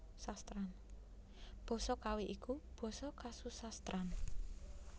Basa Kawi iku basa kasusastran